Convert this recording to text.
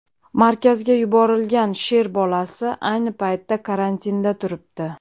Markazga yuborilgan sher bolasi ayni paytda karantinda turibdi.